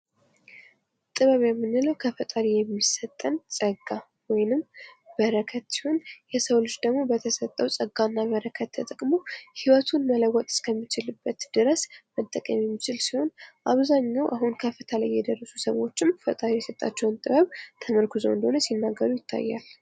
ጥበብ የምንለው ከፈጣሪ የሚሰጠን ጸጋ ወይንም በረከት ሲሆን የሰው ልጅ ደግሞ በተሰጠው ጸጋና በረከተ ተጠቅሞ ህይወቱን መለወጥ እስከሚችልበት ድረስ መጠቀም የሚችል ሲሆን አብዛኛው አሁን ከፍታ ላይ የደረሱ ሰዎችም ፈጣሪ የሰጣቸውን ጥበብ ተመርኩዘው እንደሆነ ሲናገሩ ይታያል።